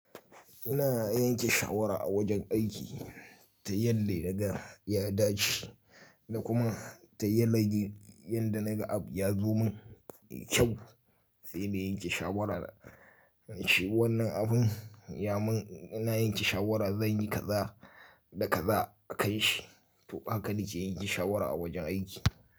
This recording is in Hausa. Ina yanke shawara a wajen aiki ta yadda daga ya dace, da kuma ta yanayi yanda naga abu ya zo mun kyau. Sai na yanke shawara da shi wannan abun ya mun, ina yanke shawara zan yi kaza da kaza a kan shi. To haka nake yanke shawara a wajen aiki.